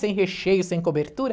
Sem recheio, sem cobertura.